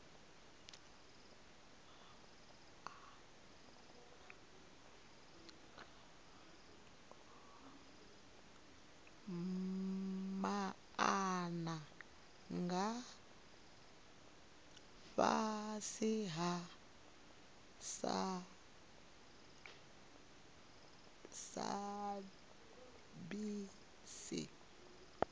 maana nga fhasi ha sabc